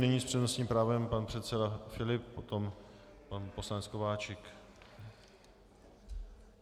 Nyní s přednostním právem pan předseda Filip, potom pan poslanec Kováčik.